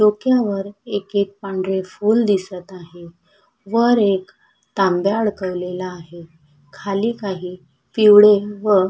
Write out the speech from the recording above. डोक्यावर एक एक पांढरा फुल दिसत आहे वर एक तांब्या अडकवलेला आहे खाली काही पिवळे व--